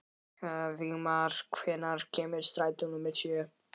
Vígmar, hvenær kemur strætó númer sjö?